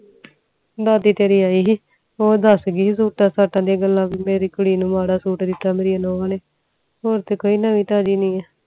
ਦਾਦੀ ਤੇਰੀ ਈ ਸੀ ਉਹ ਦਸ ਦੀ ਸੀਸੁਤਾ ਸਤਾ ਦੀਆ ਗੱਲਾਂ ਮੇਰੀ ਕੁੜੀ ਨੂੰ ਮਾਰਾ ਸੁਤ ਦਿਤਾ ਮੇਰੀਆਂ ਨੂੰਹ ਨੇ ਹੋਰ ਤਾ ਕੋਈ ਨਵੀਂ ਤਾਜ਼ੀ ਨੀ ਆ